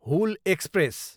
Hul express